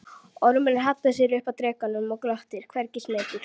Ormurinn hallar sér upp að drekanum og glottir, hvergi smeykur.